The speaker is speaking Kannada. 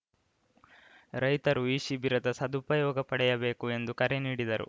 ರೈತರು ಈ ಶಿಬಿರದ ಸದುಪಯೋಗ ಪಡೆಯಬೇಕು ಎಂದು ಕರೆ ನೀಡಿದರು